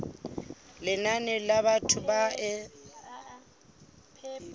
lenane la batho ba e